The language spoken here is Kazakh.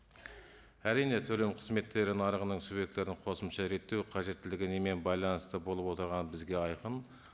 әрине төлем қызметтері нарығының субъектілерін қосымша реттеу қажеттілігі немен байланысты болып отырғаны бізге айқын